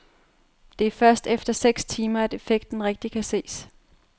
Det er først efter seks timer, at effekten rigtig kan ses.